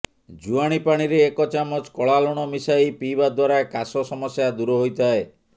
ଜୁଆଣି ପାଣିରେ ଏକ ଚାମଚ କଳା ଲୁଣ ମିଶାଇ ପିଇବା ଦ୍ବାରା କାଶ ସମସ୍ୟା ଦୂର ହୋଇଥାଏ